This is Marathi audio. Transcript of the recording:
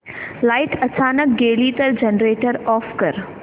लाइट अचानक गेली तर जनरेटर ऑफ कर